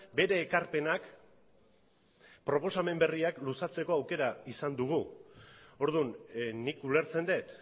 bere ekarpenak eta proposamen berriak luzatzeko aukera izan dugu orduan nik ulertzen dut